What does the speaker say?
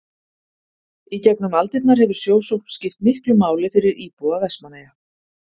Í gegnum aldirnar hefur sjósókn skipt miklu máli fyrir íbúa Vestmannaeyja.